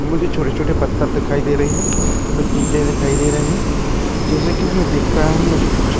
मुझे छोटे छोटे पत्थर दिखाई दे रहे हैं में टीले दिखाई दे रहे हैं जैसे कि मैं देख पा रहा हूं मुझे कुछ--